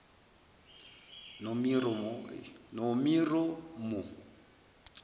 nomiromo